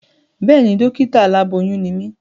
Béèni, dọ́kítà aláboyún ni mí